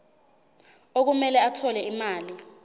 okumele athole imali